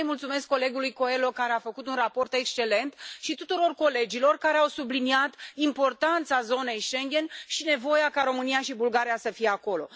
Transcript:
Vreau să i mulțumesc colegului Coelho, care a făcut un raport excelent și tuturor colegilor care au subliniat importanța zonei Schengen și nevoia ca România și Bulgaria să fie acolo.